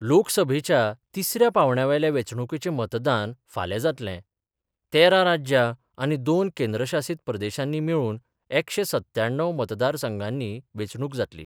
लोकसभेच्या तिसऱ्या पांवड्यावेल्या वेचणुकेचे मतदान फाल्यां जातलें, तेरा राज्यां आनी दोन केंद्र शासित प्रदेशानी मेळुन एकशे सव्याण्णव मतदारसंघानी वेचणुक जातली.